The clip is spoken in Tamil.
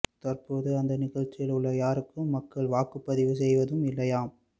தற்போது அந்த நிகழ்ச்சியில் உள்ள யாருக்கும் மக்கள் வாக்கு பதிவு செய்வதும் இல்லையாம்